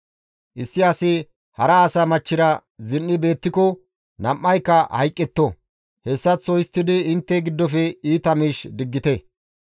Issi asi hara asa machchira zin7i beettiko nam7ayka hayqqetto; hessaththo histtidi intte giddofe iita miish diggite.